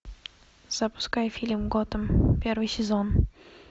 запускай фильм готэм первый сезон